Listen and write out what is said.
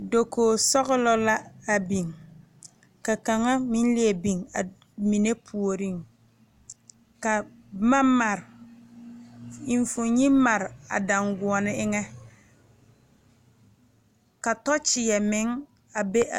Dokoge sɔglɔ a biŋ ka kaŋa meŋ leɛ biŋ a mine puoriŋ ka boma mare enfuone mare a daanguone eŋɛ ka tɔkyɛɛ meŋ a be a.